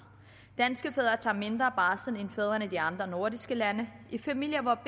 danske fædre tager mindre barsel end fædrene i de andre nordiske lande i de familier hvor